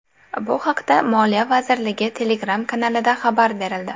Bu haqda Moliya vazirligi Telegram-kanalida xabar berildi .